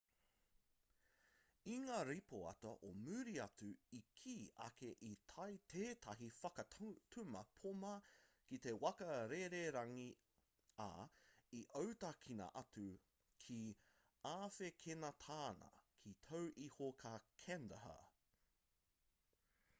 i ngā ripoata o muri atu i kī ake i tae tētahi whakatuma poma ki te waka rererangi ā i autakina atu ki āwhekenetāna ka tau iho ki kandahar